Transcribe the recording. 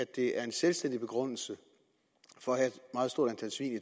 det er en selvstændig begrundelse for at